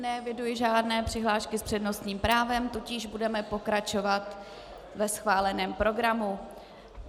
Neeviduji žádné přihlášky s přednostním právem, tudíž budeme pokračovat ve schváleném programu.